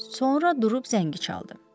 Sonra durub zəngi çaldım.